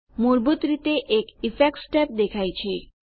મૂળભૂત રીતે એક ઇફેક્ટ્સ ટેબ દેખાય છે